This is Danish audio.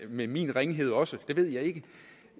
med min ringhed også det ved jeg ikke